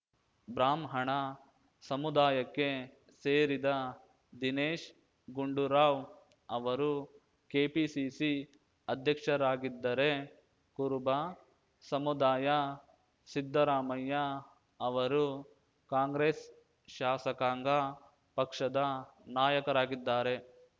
ಬ್ರಾಹ್ಮಣ ಸಮುದಾಯಕ್ಕೆ ಸೇರಿದ ದಿನೇಶ್‌ ಗುಂಡೂರಾವ್‌ ಅವರು ಕೆಪಿಸಿಸಿ ಅಧ್ಯಕ್ಷರಾಗಿದ್ದರೆ ಕುರುಬ ಸಮುದಾಯ ಸಿದ್ದರಾಮಯ್ಯ ಅವರು ಕಾಂಗ್ರೆಸ್‌ ಶಾಸಕಾಂಗ ಪಕ್ಷದ ನಾಯಕರಾಗಿದ್ದಾರೆ